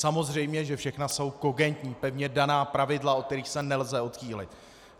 Samozřejmě že všechna jsou kogentní, pevně daná pravidla, od kterých se nelze odchýlit.